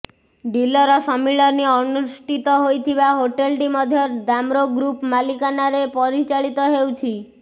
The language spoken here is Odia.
ଡିଲର ସମ୍ମିଳନୀ ଅନୁଷ୍ଠିତ ହୋଇଥିବା ହୋଟେଲଟି ମଧ୍ୟ ଦାମ୍ରୋ ଗ୍ରୁପ୍ର ମାଲିକାନାରେ ପରିଚାଳିତ ହେଉଛି